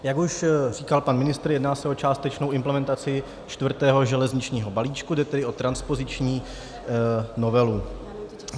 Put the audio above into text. Jak už říkal pan ministr, jedná se o částečnou implementaci čtvrtého železničního balíčku, jde tedy o transpoziční novelu.